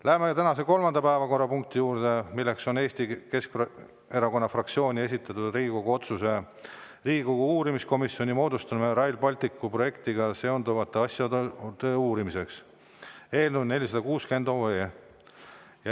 Läheme tänase kolmanda päevakorrapunkti juurde: Eesti Keskerakonna fraktsiooni esitatud Riigikogu otsuse "Riigikogu uurimiskomisjoni moodustamine Rail Balticu projektiga seonduvate asjaolude uurimiseks" eelnõu 460.